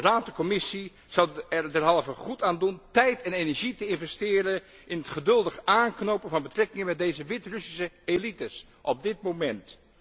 Raad en Commissie zouden er derhalve goed aan doen tijd en energie te investeren in het geduldig aanknopen van betrekkingen met deze Wit Russische elites op dit moment.